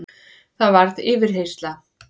Það varð yfirheyrsla.